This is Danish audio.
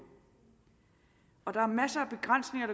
og der er masser af begrænsninger